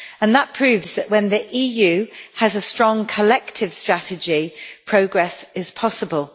This proves that when the EU has a strong collective strategy, progress is possible.